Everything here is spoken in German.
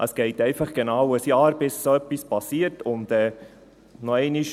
Es dauert einfach genau ein Jahr, bis so etwas passiert, und noch einmal: